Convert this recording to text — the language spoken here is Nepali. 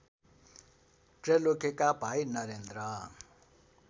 त्रैलोक्यका भाइ नरेन्द्र